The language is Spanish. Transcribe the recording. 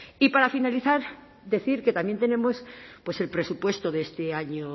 y para finalizar decir que también tenemos el presupuesto de este año